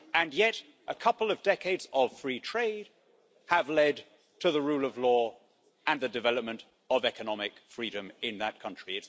Yet a couple of decades of free trade have led to the rule of law and the development of economic freedom in that country.